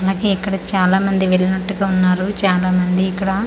అలాగే ఇక్కడ చాలా మండి వెల్లినట్టుగా ఉన్నారు చాలా మంది ఇక్కడ బై--